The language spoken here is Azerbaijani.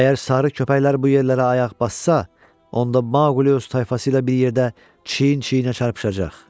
Əgər sarı köpəklər bu yerlərə ayaq bassa, onda Maqli öz tayfası ilə bir yerdə çiyin-çiyinə çarpışacaq.